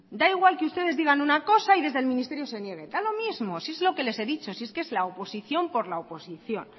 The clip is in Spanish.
da igual que ustedes digan una cosa y desde el ministerio se niegue da lo mismo si es lo que les he dicho si es que es la oposición por la oposición